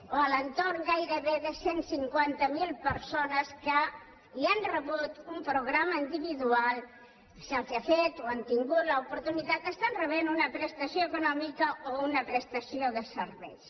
o a l’entorn gairebé de cent i cinquanta miler persones que ja han rebut un programa individual se’ls ha fet o han tingut l’oportunitat que estan rebent una prestació econòmica o una prestació de serveis